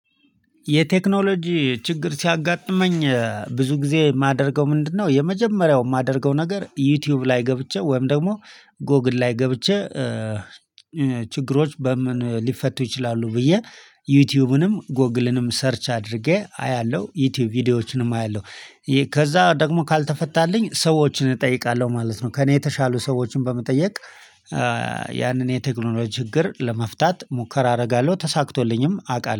የቴክኖሎጂ ችግር ሲያጋጥመኝ ብዙ ጊዜ የማደርገው ምንድነው? የመጀመሪያው የማደርገው ነገር ዩቲዩብ ላይ ገብቼ ወይም ደግሞ ጎግል ላይ ገብቼ ችግሮች በምን ሊፈቱ ይችላሉ? ብዬ ዩቲዩብንም ጎግልንም ሰርች አድርጌ አያለሁ ዩቲዩብ ቪዲዮዎችንም አያለሁ። ከዛ ደግሞ ካልተፈታልኝ ሰዎችን እጠይቃለሁ ማለት ነው። ከእኔ የተሻሉ ሰዎችን በመጠየቅ የቴክኖሎጂ ችግር ለመፍታት ሙከራ አደርጋለሁ ተሳክቶልኝም አቃለ